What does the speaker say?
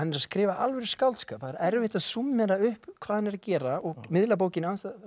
skrifa alvöru skáldskap það er svo erfitt að súmmera upp hvað hann er að gera og miðla bókinni